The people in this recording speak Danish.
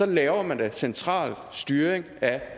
laver man da central styring af